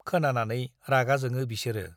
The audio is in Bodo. खोनानानै रागा जोङो बिसोरो ।